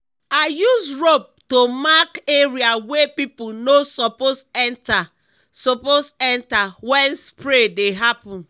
i use rope to mark area wey people no suppose enter suppose enter when spray dey happen.